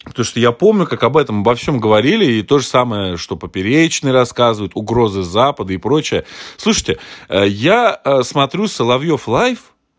то что я помню как об этом обо всём говорили и то же самое что поперечный рассказывают угрозы запада и прочее слушайте я смотрю соловьёв лайф